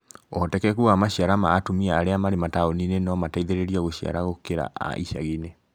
Ũhotekeku wa Maciara ma atumia arĩa marĩ mataũni-inĩ no mateithĩrĩrio gũciara gũkĩra a icagi-inĩ